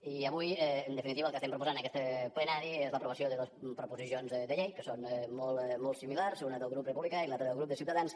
i avui en definitiva el que estem proposant en aquest plenari és l’aprovació de dos proposicions de llei que són molt similars una del grup republicà i l’altra del grup de ciutadans